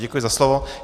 Děkuji za slovo.